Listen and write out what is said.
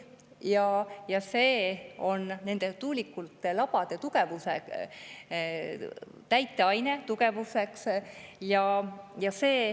See on täiteaine nende tuulikute labade tugevdamiseks.